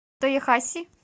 тоехаси